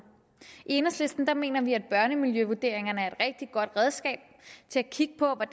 i enhedslisten mener vi at børnemiljøvurderingerne er et rigtigt godt redskab til at kigge på